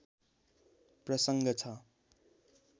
प्रसङ्ग छ